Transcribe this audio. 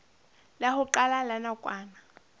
la ho qala la nakwana